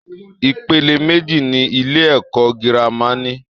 Ipele méjì ni ilé-ẹ̀kọ́ gírámà ní.